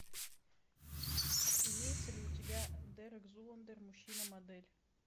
имеется ли у тебя дерек зуландер мужчина модель